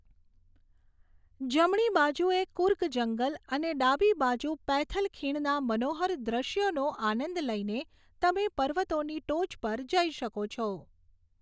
જમણી બાજુએ કુર્ગ જંગલ અને ડાબી બાજુ પૈથલ ખીણના મનોહર દૃશ્યોનો આનંદ લઈને તમે પર્વતોની ટોચ પર જઈ શકો છો.